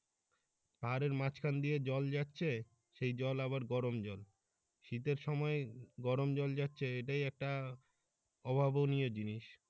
পাহাড়ের মাঝখান দিয়ে জল যাচ্ছে সেই জল আবার গরম জল শীতের সময় গরম জল যাচ্ছে এটাই একটা অভাবনীয় জিনিস।